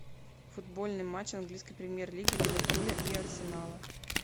футбольный матч английской премьер лиги ливерпуля и арсенала